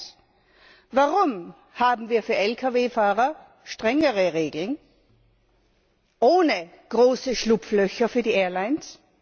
Erstens Warum haben wir für Lkw Fahrer strengere Regeln ohne große Schlupflöcher für die Airlines?